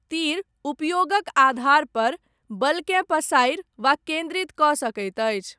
तीर, उपयोगक आधारपर, बलकेँ पसारि वा केन्द्रितकऽ सकैत अछि।